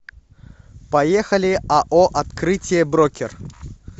поехали ао открытие брокер